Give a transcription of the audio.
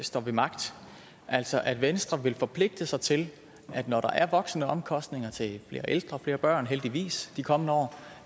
står ved magt altså at venstre vil forpligte sig til når der er voksende omkostninger til flere ældre og flere børn heldigvis de kommende år